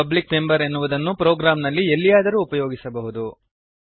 public member ಎನ್ನುವುದನ್ನು ಪ್ರೋಗ್ರಾಂನಲ್ಲಿ ಎಲ್ಲಿಯಾದರೂ ಉಪಯೋಗಿಸಬಹುದು